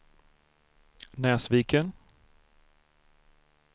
Näsviken